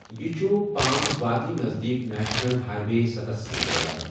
یہِ چھُ پام وادی نزدیٖک نیشنل ہائی وے ستَس سۭتۍ رَلان۔